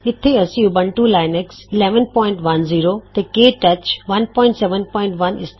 ਇਥੇ ਅਸੀਂ Ubuntu Linux 1110 ਤੇ ਕੇ ਟੱਚ 171